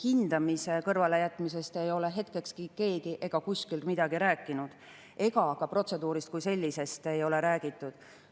Hindamise kõrvalejätmisest ei ole keegi ega kuskil hetkekski midagi rääkinud, ka protseduurist kui sellisest ei ole räägitud.